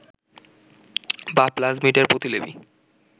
বা প্লাজমিড এর প্রতিলিপি